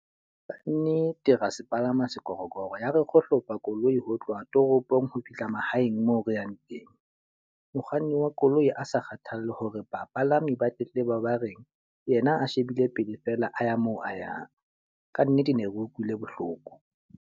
ra se palama sekorokoro, ya re kgohlopo koloi ho tloha toropong ho fihla mahaeng moo re yang teng. Mokganni wa koloi a sa kgathalle hore bapalami ba tletleba ba reng, yena a shebile pele fela a ya moo a yang. Ka nnete ne re utlwile bohloko.